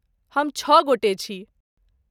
हम छ गोटे छी।